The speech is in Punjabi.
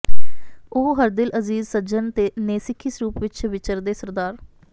ਉਹ ਹਰਦਿਲ ਅਜ਼ੀਜ਼ ਸੱਜਣ ਨੇ ਸਿੱਖੀ ਸਰੂਪ ਵਿੱਚ ਵਿਚਰਦੇ ਸ੍ਰ